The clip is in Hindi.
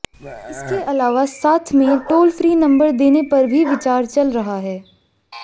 इसके अलावा साथ में टोल फ्री नम्बर देने पर भी विचार चल रहा है